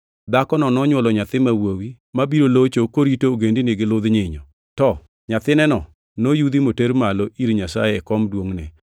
Dhakono nonywolo nyathi ma wuowi, nyathi ma wuowi mabiro locho korito ogendini gi ludh nyinyo. To nyathineno noyudhi moter malo ir Nyasaye e kom duongʼne.